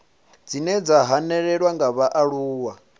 dzine dza hanelelwa nga vhaaluwa